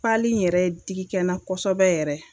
Pali in yɛrɛ digikɛna kosɛbɛ yɛrɛ.